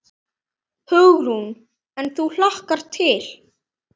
Hugrún: En þú hlakkar til?